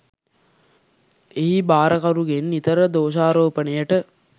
එහි භාරකරුගෙන් නිතර දෝෂාරෝපණයට